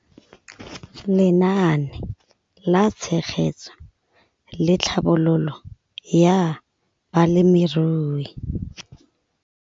Lenaane la Tshegetso le Tlhabololo ya Balemirui.